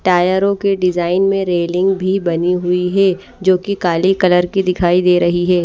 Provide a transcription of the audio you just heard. टायरों के डिजाइन में रेलिंग भी बनी हुई है जो कि काले कलर की दिखाई दे रही है।